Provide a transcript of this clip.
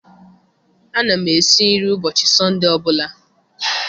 Ana m esi nri ụbọchị Sọnde ọ bụla.